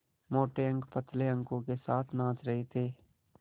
मोटे अंक पतले अंकों के साथ नाच रहे थे